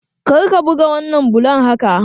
Kar ka buga wannan bulon haka!